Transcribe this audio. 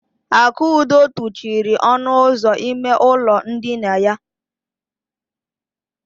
Akudo tụchiri ọnụ ụzọ ime ụlọ ndina ya.